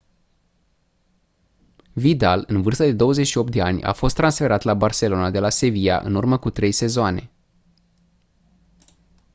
vidal în vârstă de 28 de ani a fost transferat la barcelona de la sevilla în urmă cu trei sezoane